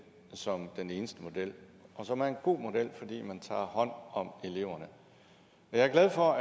som den eneste model som er en god model fordi man tager hånd om eleverne jeg er glad for